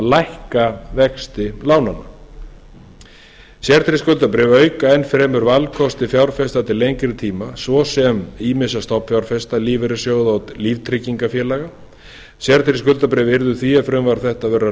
lækka vexti lánanna sértryggð skuldabréf auka enn fremur valkosti fjárfesta til lengri tíma svo sem ýmissa stofnanafjárfesta lífeyrissjóða og líftryggingafélaga sértryggð skuldabréf yrðu því ef frumvarp þetta verður að